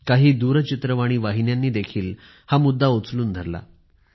काही दूरचित्रवाणी वाहिन्यांनी देखील हा मुद्दा उचलून धरला